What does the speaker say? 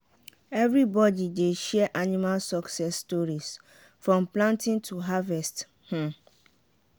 everybody dey share animal success stories from planting to harvest. um